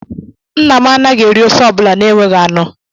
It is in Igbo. Nna m anaghị eri ofe ọ bụla na-enweghị anụ